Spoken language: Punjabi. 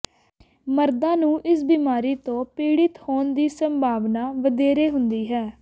ਮਰਦਾਂ ਨੂੰ ਇਸ ਬਿਮਾਰੀ ਤੋਂ ਪੀੜਤ ਹੋਣ ਦੀ ਸੰਭਾਵਨਾ ਵਧੇਰੇ ਹੁੰਦੀ ਹੈ